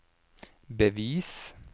bevis